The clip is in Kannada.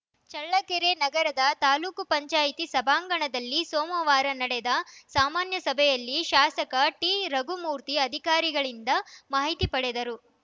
ಚಳ್ಳಕೆರೆ ನಗರದ ತಾಲೂಕ್ ಪಂಚಾಯತಿ ಸಭಾಂಗಣದಲ್ಲಿ ಸೋಮವಾರ ನಡೆದ ಸಾಮಾನ್ಯ ಸಭೆಯಲ್ಲಿ ಶಾಸಕ ಟಿರಘುಮೂರ್ತಿ ಅಧಿಕಾರಿಗಳಿಂದ ಮಾಹಿತಿ ಪಡೆದರು